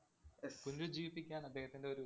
പുനരുജ്ജീവിപ്പിക്കാന്‍ അദ്ദേഹത്തിന്‍റെയൊരു